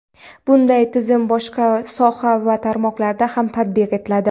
Bunday tizim boshqa soha va tarmoqlarda ham tatbiq etiladi.